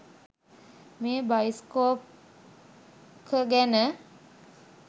මේ බයිස්කොප් ක ගැන